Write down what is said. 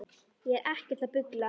Ég er ekkert að bulla.